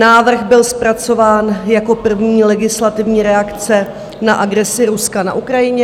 Návrh byl zpracován jako první legislativní reakce na agresi Ruska na Ukrajině...